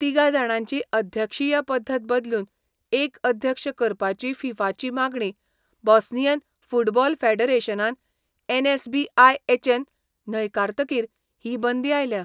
तिगा जाणांची अध्यक्षीय पद्दत बदलून एक अध्यक्ष करपाची 'फिफा'ची मागणी बोस्नियन फुटबॉल फॅडरेशनान एन.एस.बी.आय.एच न न्हयकारतकीर ही बंदी आयल्या.